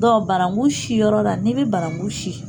banaku sinyɔrɔ la n'i bɛ banaku sin.